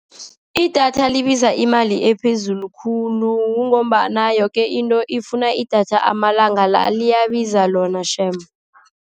Idatha libiza imali ephezulu khulu, kungombana yoke into ifuna idatha amalanga la. Liyabiza lona shame.